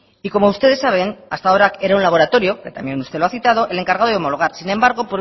y como ustedes saben hasta ahora era un laboratorio que también usted lo ha citado el encargado de homologar sin embargo